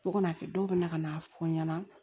Fo ka n'a kɛ dɔw bɛ na ka na fɔ n ɲɛna